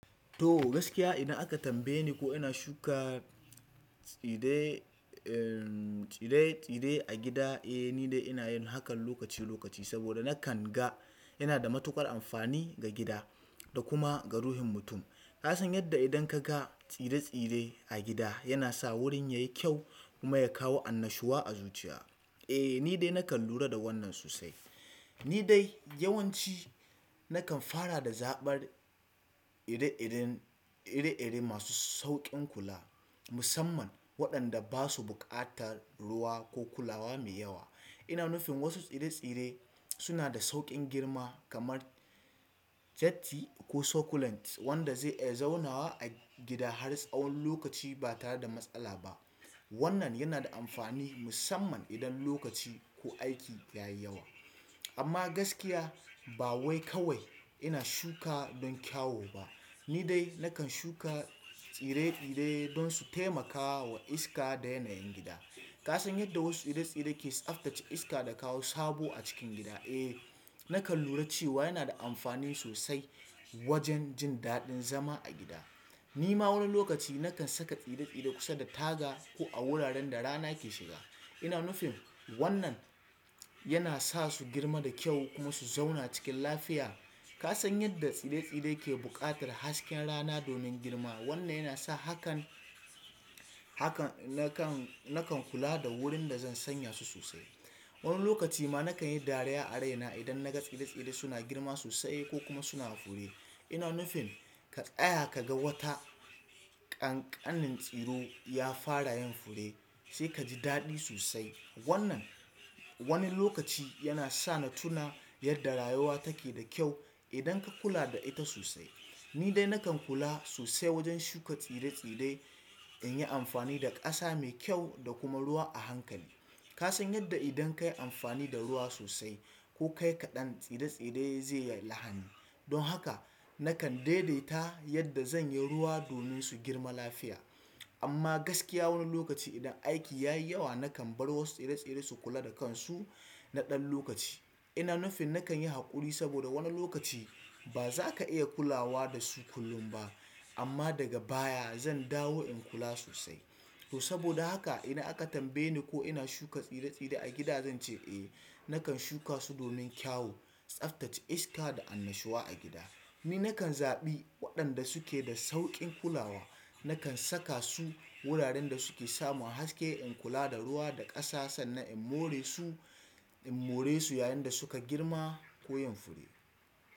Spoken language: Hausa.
To gaskiya idan aka tambaye ni ko ina shuka tsire-tsire a gida, eh ni dai ina yin hakan lokaci lokaci saboda na kan ga yana da matuƙar amfani ga gida da kuma ga ruhin mutum. Ka san yadda idan ka ga tsire-tsire a gida yana sa wurin ya yi kyau kuma ya kawo annashuwa a zuciya. Eh ni dai na kan lura da wannan sosai. Ni dai yawanci na kan fara da zaɓar ire-iren masu sauƙin kula musamman waɗanda ba su buƙatar ruwa ko kulawa mai yawa. Ina nufin wasu tsire tsire suna da sauƙin girma kaman jatti ko sokulent wanda zai iya zaunawa a gida na tsawon lokaci ba tare da matsala ba wannan yana da amfani musamman idan lokaci ko aiki yayi yawa. Amma gaskiya ba wai kawai ina shuka don kyau ba. Ni dai na kan shuka tsire-tsire don su taimakawa wa iska da yanayin gida. Ka san yadda wasu tsire-tsire ke tsaftace iska da kawo sabo a cikin gida? Eh na kan lura cewa yana da amfani sosai wajen jin daɗin zama a gida. Ni ma wani lokaci na kan saka tsire-tsire kusa da taga ko a wuraren da rana ke shiga. Ina nufin wannan yana sa su girma da kyau kuma su zauna cikin lafiya. Ka san yadda tsire-tsire ke buƙatar hasken rana domin girma? Wannan yana sa hakan, nakan kula da wurin da zan sanya su sosai. Wani lokaci ma na kan yi dariya a raina idan na ga tsire-tsire suna girma sosai ko kuma suna fure. Ina nufin ka tsaya ka ga wata ƙanƙanin tsiro ya fara yin fure sai ka ji daɗi sosai. Wannan wani lokaci yana sa na tuna yadda rayuwa take da kyau idan ka kula da ita sosai. Ni dai na kan kula sosai wajen shuka tsire-tsire in yi amfani da ƙasa mai kyau da kuma ruwa a hankali. Kasan yadda idan kayi amfani da ruwa sosai ko kayi kaɗan tsira tsire zai yallahan don haka na kan daidaita yadda zan yi ruwa domin su girma lafiya. Amma gaskiya wani lokaci idan aiki ya yi yawa na kan bar wasu tsire tsire su kula da kansu na ɗan lokaci. Ina nufin na kan yi haƙuri saboda wani lokaci ba za ka iya kulawa da su kullum ba amma daga baya zan ɗawo in kula sosai. To saboda haka idan aka tambaye ni ko ina shuka tsire-tsire a gida zan ce eh. Na kan shuka su domin kyawu, tsaftace iska da annashuwa a gida. Ni na kan zaɓi waɗanda suke da sauƙin kulawa. Na kan saka su wuraren da suke samu haske, in kula da ruwa da ƙasa sannan in more su, in more su yayin da su ka girma ko yin fure.